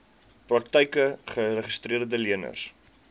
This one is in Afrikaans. praktyke geregistreede leners